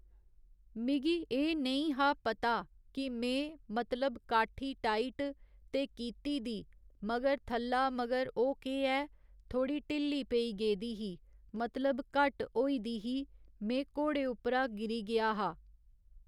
मिगी एह् नेईं हा पता कि में, मतलब काट्ठी टाइट ते कीती दी मगर थल्ला मगर ओह् केह् ऐ थोड़ी ढिल्ली पेई गेदी ही मतलब घट्ट होई दी ही में घोड़े उप्परा घिरी गेआ ते